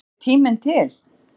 Er tíminn til?